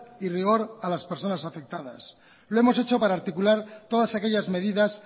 y rigor a las personas afectadas lo hemos hecho para articular todas aquellas medidas